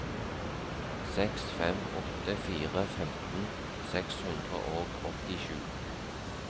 seks fem åtte fire femten seks hundre og åttisju